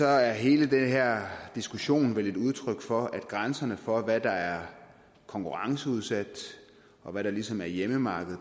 er hele den her diskussion vel et udtryk for at grænserne for hvad der er konkurrenceudsat og hvad der ligesom er hjemmemarked